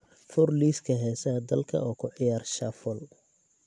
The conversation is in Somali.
fur liiska heesaha dalka oo ku ciyaar shuffle